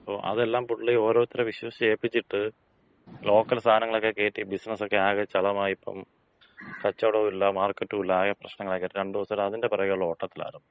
പ്പോ അതെല്ലാം പുള്ളി ഓരോര്ത്തരെ വിശ്വസിച്ച് ഏപ്പിച്ചിട്ട്, ലോക്കൽ സാധനങ്ങളക്ക കേറ്റി ബിസിനസക്കെ ആകെ ചളമായി. ഇപ്പം, കച്ചോടോം ഇല്ല മാർക്കറ്റും ഇല്ല. അകെ പ്രശ്നങ്ങളൊക്കായിട്ട്, രണ്ട് ദിവസായിട്ട് അതിന്‍റെ പെറകെയൊള്ള ഓട്ടത്തിലാരുന്നു.